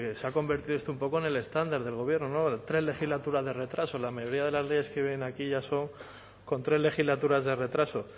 se ha convertido esto un poco en el estándar del gobierno no tres legislaturas de retraso la mayoría de las leyes que vienen aquí ya son con tres legislaturas de retraso